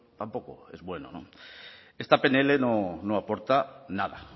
tampoco es bueno esta pnl no aporta nada